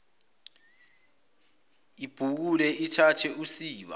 ibhukule ithathe usiba